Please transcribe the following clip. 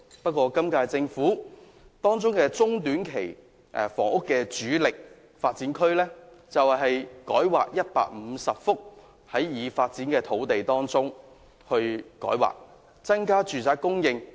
不過，今屆政府中、短期房屋的主力工作，卻是改劃150幅已發展區域的土地，增加住屋供應。